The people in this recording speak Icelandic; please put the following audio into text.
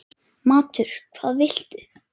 Matur: Hvað viltu?